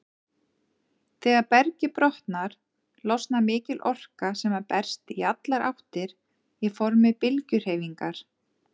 Þegar bergið brotnar, losnar mikil orka sem berst í allar áttir í formi bylgjuhreyfingar.